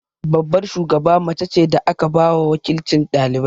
Babbar shugaba mace ce da aka ba wa waƙilcin ɗalibai.